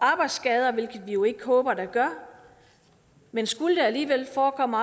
arbejdsskader hvilket vi jo ikke håber at der gør men skulle det alligevel forekomme